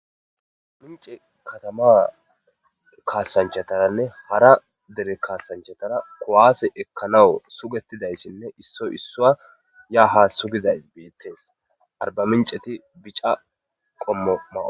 Arba mince katama kaasanchataranne hara dere kaasanchatara kuwaase ekkanaw sugettidayssinne issoy issua ya ha sugizay beettes arbaminceti bica qommo mawo